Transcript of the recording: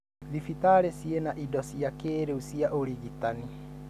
Thibitari cĩina indo cia kĩrĩu cia ũrigitani.